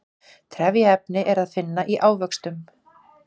trefjaefni er að finna í ávöxtum